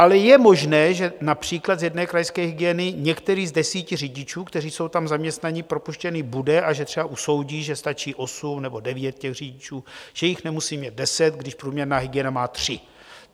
Ale je možné, že například z jedné krajské hygieny některý z desíti řidičů, kteří jsou tam zaměstnaní, propuštěn bude, a že třeba usoudí, že stačí osm nebo devět těch řidičů, že jich nemusí mít deset, když průměrná hygiena má tři.